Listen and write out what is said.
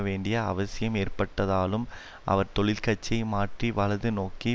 வேண்டிய அவசியம் ஏற்பட்டதாலும் அவர் தொழிற்கட்சியை மாற்றி வலது நோக்கிய